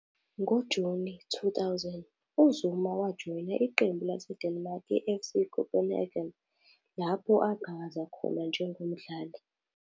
NgoJuni 2000, uZuma wajoyina iqembu laseDenmark iFC Copenhagen, lapho aqhakaza khona njengomdlali.